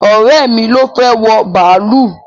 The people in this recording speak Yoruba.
Ọ̀rẹ́ mi ló fẹ́ wọ bàálù